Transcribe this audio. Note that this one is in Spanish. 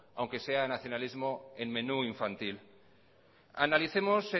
aunque sea nacionalismo en menú infantil analicemos